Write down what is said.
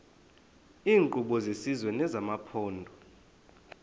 iinkqubo zesizwe nezamaphondo